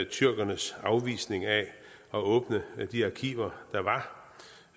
tyrkernes afvisning af at åbne de arkiver